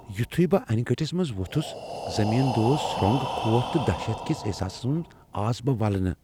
یٗتھٗیہ بہٕ انہِ گٹِس منز وۄتھٗس ، زمین دوز سرو٘نگ ، خوف تہٕ دہشت كِس احساسس منز آس بہٕ ولنہٕ ۔